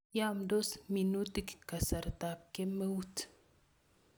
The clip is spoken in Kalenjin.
Yamndos minutik kasartap kemeut